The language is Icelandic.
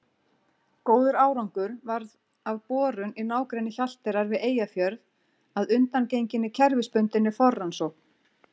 Góður árangur varð af borun í nágrenni Hjalteyrar við Eyjafjörð að undangenginni kerfisbundinni forrannsókn.